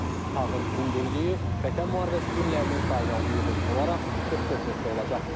Tağın hündürlüyü Vətən müharibəsi günlərinin sayına uyğun olaraq 44 metr olacaq.